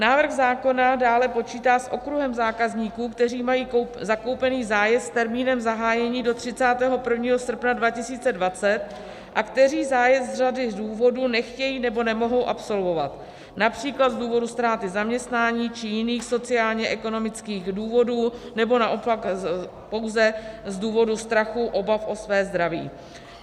Návrh zákona dále počítá s okruhem zákazníků, kteří mají zakoupený zájezd s termínem zahájení do 31. srpna 2020 a kteří zájezd z řady důvodů nechtějí nebo nemohou absolvovat, například z důvodů ztráty zaměstnání či jiných sociálně-ekonomických důvodů nebo naopak pouze z důvodů strachu, obav o své zdraví.